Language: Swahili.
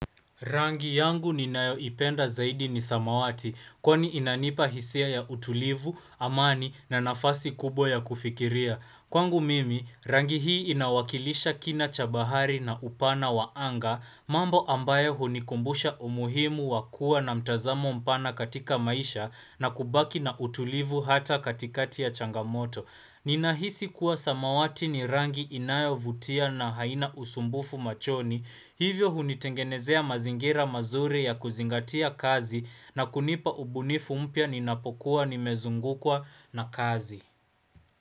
Rangi yangu ninayoipenda zaidi ni samawati, kwani inanipa hisia ya utulivu, amani na nafasi kubwa ya kufikiria. Kwangu mimi, rangi hii inawakilisha kina cha bahari na upana wa anga, mambo ambayo hunikumbusha umuhimu wakua na mtazamo mpana katika maisha na kubaki na utulivu hata katikati ya changamoto. Ninahisi kuwa samawati ni rangi inayovutia na haina usumbufu machoni, hivyo hunitengenezea mazingira mazuri ya kuzingatia kazi na kunipa ubunifu mpya ninapokuwa nimezungukwa na kazi.